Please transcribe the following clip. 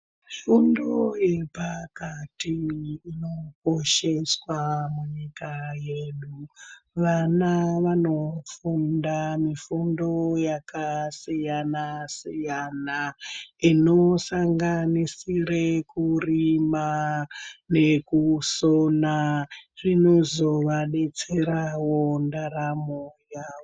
Mifundo yepakati inokosheswa munyika yedu. Vana vanofunda mifundo yakasiyana siyana inosanganisire kurima nekusona. Zvinozovadetserawo ndaramo yavo.